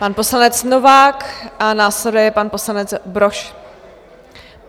Pan poslanec Novák a následuje pan poslanec Brož.